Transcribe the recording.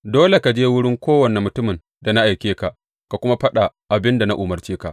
Dole ka je wurin kowane mutumin da na aike ka ka kuma faɗa abin da na umarce ka.